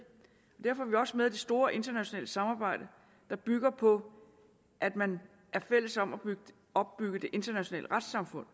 derfor er vi også med i det store internationale samarbejde der bygger på at man er fælles om at opbygge det internationale retssamfund